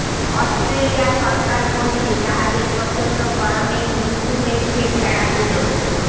Australia সরকার বলছে জাহাজে প্রচণ্ড গরমেই মৃত্যু হয়েছে ভেড়াগুলোর